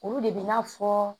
Olu de bɛ n'a fɔ